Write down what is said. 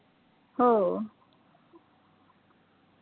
हो